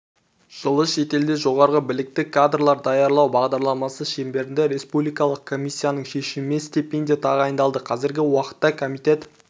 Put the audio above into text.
жылы шетелде жоғары білікті кадрлар даярлау бағдарламасы шеңберінде республикалық комиссияның шешімімен стипендия тағайындалды қазіргі уақытта комитет